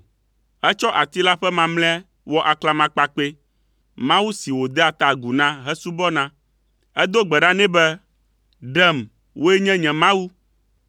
Etsɔ ati la ƒe mamlɛa wɔ aklamakpakpɛ, mawu si wòdea ta agu na hesubɔna. Edo gbe ɖa nɛ be, “Ɖem, wòe nye nye mawu.”